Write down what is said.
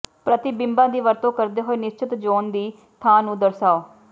ਪ੍ਰਤੀਬਿੰਬਾਂ ਦੀ ਵਰਤੋਂ ਕਰਦੇ ਹੋਏ ਨਿਸ਼ਚਿਤ ਜ਼ੋਨ ਦੀ ਥਾਂ ਨੂੰ ਦਰਸਾਓ